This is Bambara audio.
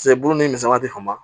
Paseke bulu ni misɛnman tɛ sama